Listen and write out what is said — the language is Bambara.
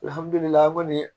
Alihamdullila a ma